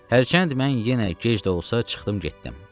Hərçənd mən yenə gec də olsa, çıxdım getdim.